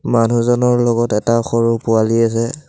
মানুহজনৰ লগত এটা সৰু পোৱালি আছে।